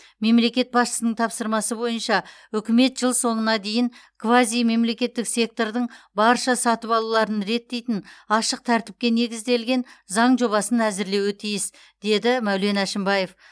мемлекет басшысының тапсырмасы бойынша үкімет жыл соңына дейін квазимемсектордың барша сатып алуларын реттейтін ашық тәртіпке негізделген заң жобасын әзірлеуі тиіс деді мәулен әшімбаев